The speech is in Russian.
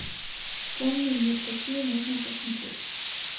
темный мир какие можно посмотреть